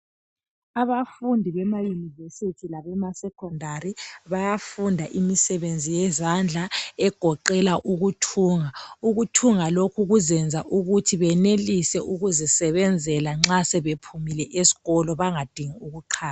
Abafundi bemaunivesithi labemasekhondari bayafunda imisebenzi yezandla egoqela ukuthunga .Ukuthunga lokhu kuzenza ukuthi benelise ukuzisebenzela nxa sebephumile esikolo bangadingi ukuqhatshwa.